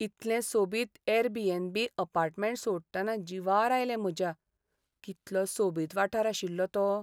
इतलें सोबीत Airbnb. Apartment सोडटना जिवार आयलें म्हज्या, कितलो सोबीत वाठार आशिल्लो तो.